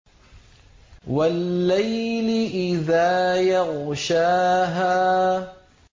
وَاللَّيْلِ إِذَا يَغْشَاهَا